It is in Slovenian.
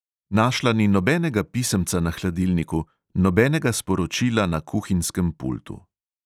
Našla ni nobenega pisemca na hladilniku, nobenega sporočila na kuhinjskem pultu.